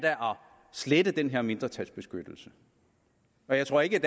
slette den her mindretalsbeskyttelse og jeg tror ikke at